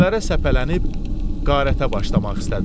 Küçələrə səpələnib qarətə başlamaq istədilər.